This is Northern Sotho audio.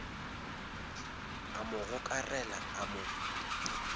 a mo gokarela a mo